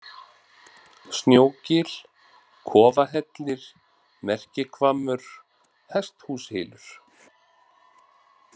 Snjógil, Kofahellir, Merkihvammur, Hesthúshylur